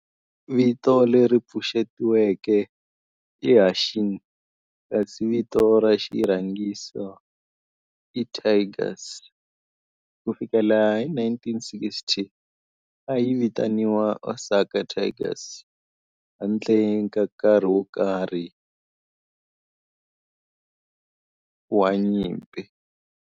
Vito leri pfuxetiweke i "Hanshin" kasi vito ra xirhangiso i "Tigers". Ku fikela hi 1960, a yi vitaniwa Osaka Tigers handle ka nkarhi wo karhi hi nkarhi wa nyimpi.